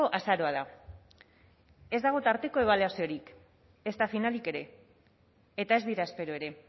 azaroa da ez dago tarteko ebaluaziorik ezta finalik ere eta ez dira espero ere